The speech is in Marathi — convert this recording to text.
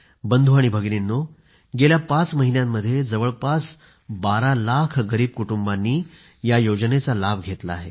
बंधू आणि भगिनींनो गेल्या पाच महिन्यांमध्ये जवळपास बारा लाख गरीब कुटुंबांनी या योजनेचा लाभ घेतला आहे